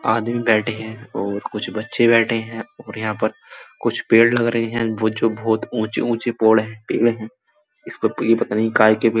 आदमी बैठे हैं और कुछ बच्चे बैठे हैं और यहाँ पर कुछ पेड़ लग रहे हैं। वो जो बहोत ऊंचे-ऊंचे पड़ पेड़ है। इसका पता नहीं काए का पेड़ --